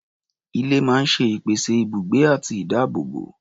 Ilé máa ń ṣe ìpèsè ibùgbé àti ìdáàbòbò.